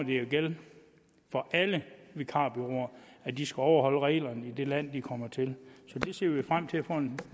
jo gælde for alle vikarbureauer at de skal overholde reglerne i det land de kommer til det ser vi frem til at få en